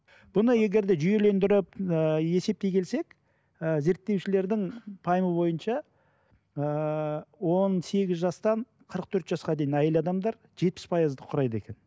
бұны егер де жүйелендіріп ыыы есептей келсек ы зерттеушілердің пайымы бойынша ыыы он сегіз жастан қырық төрт жасқа дейін әйел адамдар жетпіс пайызды құрайды екен